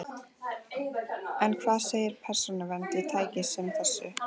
En hvað segir Persónuvernd við tæki sem þessu?